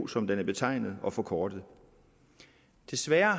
som den er betegnet og forkortet desværre